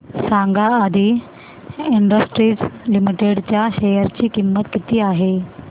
सांगा आदी industries limited च्या शेअर ची किंमत किती आहे